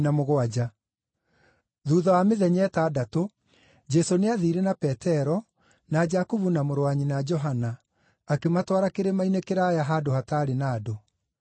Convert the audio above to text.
Thuutha wa mĩthenya ĩtandatũ, Jesũ nĩathiire na Petero, na Jakubu, na mũrũ wa nyina Johana, akĩmatwara kĩrĩma-inĩ kĩraaya handũ hataarĩ na andũ.